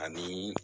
Ani